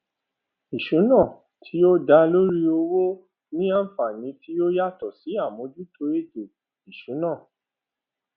ìṣúná tí ó dá lórí owó ni àǹfàní tí ó yàtò sí àmójútó ètò ìsúná